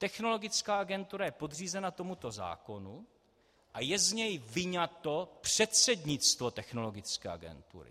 Technologická agentura je podřízena tomuto zákonu a je z něj vyňato předsednictvo Technologické agentury.